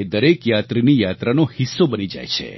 એ દરેક યાત્રીની યાત્રાનો હિસ્સો બની જાય છે